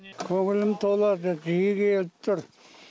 көңілім толады жиі келіп тұр